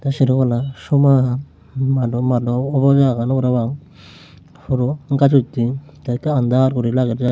sero palla soman mado mado obola agon parapang puro ghaj uttey te ekka under guri lager siyan.